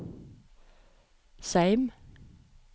Seim